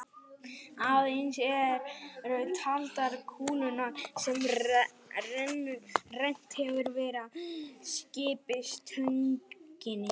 Aðeins eru taldar kúlurnar sem rennt hefur verið að skiptistönginni.